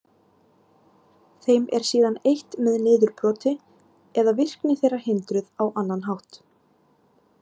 Þeim er síðan eytt með niðurbroti eða virkni þeirra hindruð á annan hátt.